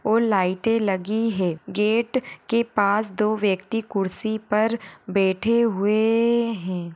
और लाइटे लगी है गेट के पास दो व्यक्ति कुर्सीपर बैठे हुए है।